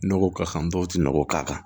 Nɔgɔ ka kan dɔw tɛ nɔgɔ k'a kan